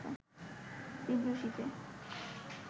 তীব্র শীতে